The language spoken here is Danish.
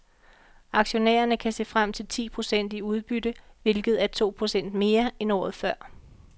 Aktionærerne kan se frem til ti procent i udbytte, hvilket er to procent mere end året før.